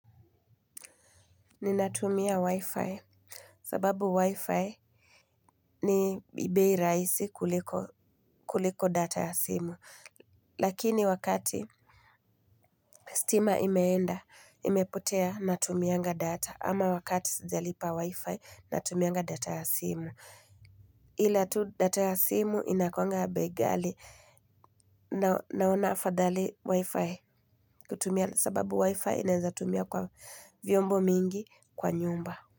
Ninatumia wi-fi sababu wi-fi ni bei raisi kuliko data ya simu lakini wakati stima imeenda imepotea natumianga data ama wakati sijalipa wi-fi natumianga data ya simu ila tu data ya simu inakwanga bei ghali naona afadhali wi-fi kutumia sababu wi-fi inaeza tumia kwa vyombo mingi kwa nyumba.